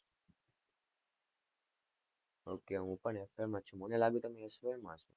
ohk હું પણ F. Y. માં જ છું, મને લાગ્યું તમે S. Y. માં છો,